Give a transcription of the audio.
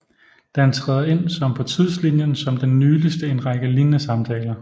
Den træder ind som på tidslinjen som den nyligste i en række lignende samtaler